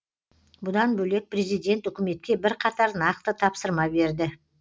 бұдан бөлек президент үкіметке бірқатар нақты тапсырма берді